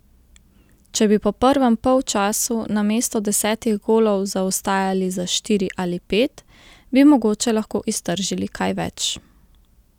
Če bi po prvem polčasu namesto desetih golov zaostajali za štiri ali pet, bi mogoče lahko iztržili kaj več.